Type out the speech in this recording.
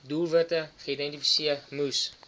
doelwitte geïdentifiseer moes